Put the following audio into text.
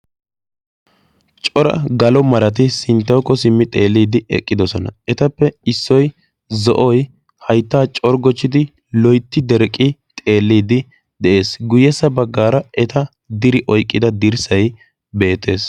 cora galo marati sinttawukko xeellidi eqqidoosona. ettappe issoy zo'oy hayttaa corggochchiddi loytti dereqqi xelliidi de"ees. guyyessa baggaara eta diri oyqqi uttida dirssay beettees.